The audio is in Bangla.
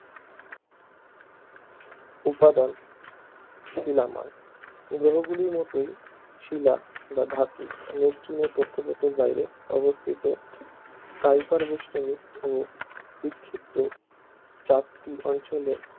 উপাদান শিলাময় গ্রহগুলির মতোই শিলা বা ধাতু নেপচুনের কক্ষপথের বাইরে অবস্থিত কাইপার বেষ্টনী ও বিক্ষিপ্ত চাকতি অঞ্চলে